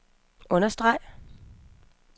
understreg